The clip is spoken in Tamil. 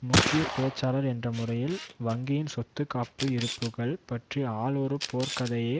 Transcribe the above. முக்கிய பேச்சாளர் என்ற முறையில் வங்கியின் சொத்து காப்பு இருப்புக்கள் பற்றி ஆல் ஒரு போர்க் கதையை